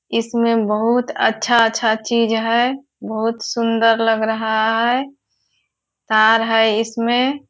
इसमें बहुत अच्छा-अच्छा चीज है। बहुत सुंदर लग रहा है। तार है इसमें।